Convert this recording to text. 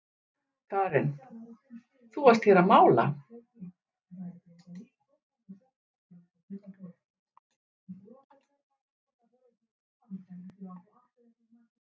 Karen: Þú varst hér að mála?